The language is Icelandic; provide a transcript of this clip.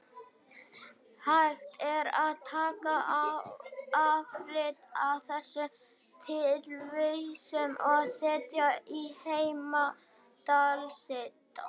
Hægt er að taka afrit af þessari tilvísun og setja í heimildalista.